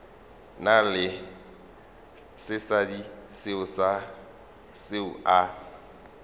na le sesadi seo a